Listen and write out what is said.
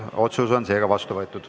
Otsus on vastu võetud.